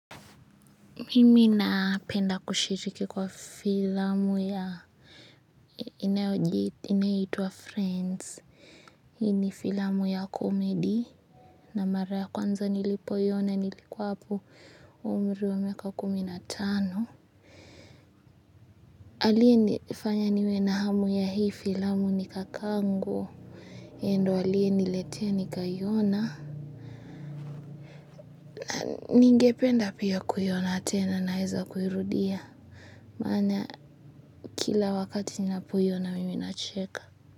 Mimi na penda kushiriki kwa filamu ya inayoitwa friends. Hii ni filamu ya comedy. Na mara ya kwanza nilipoiona nilikuwa hapo umri wa miaka kumi na tano aliyenifanya niwe na hamu ya hii filamu ni kaka yangu. Ye ndo aliyeniletea nikaiona. Ningependa pia kuiona tena naeza kuirudia. Maana kila wakati ninapo iona mimi nacheka.